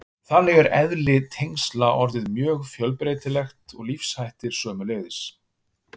Þannig er eðli tengsla orðið mjög fjölbreytilegt og lífshættir sömuleiðis.